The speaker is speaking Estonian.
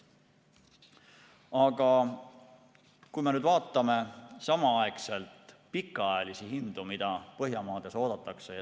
Aga vaatame pikaajalisi hindu, mida Põhjamaades oodatakse.